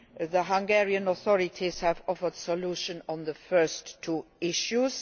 The Hungarian authorities have offered solutions on the first two issues.